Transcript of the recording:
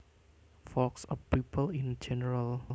Folks are people in general